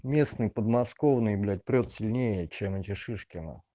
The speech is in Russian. местный подмосковные блять прёт сильнее чем эти шишки нах